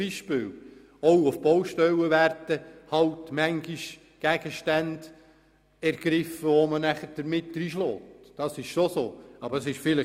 Doch auch auf Baustellen werden manchmal Gegenstände ergriffen, mit denen man dann dreinschlägt.